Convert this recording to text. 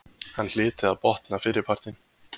Hann hlyti að botna fyrripartinn.